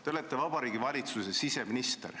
" Te olete Vabariigi Valitsuse siseminister.